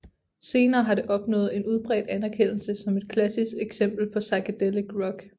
Senere har det opnået en udbredt anerkendelse som et klassisk eksempel på psychedelic rock